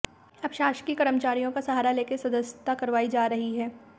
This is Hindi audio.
अब शासकीय कर्मचारियों का सहारा लेकर सदस्यता करवाई जा रही है